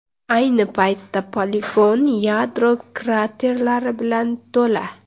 Ayni paytda poligon yadro kraterlari bilan to‘la.